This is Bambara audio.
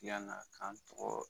Yann'a k'an tɔgɔ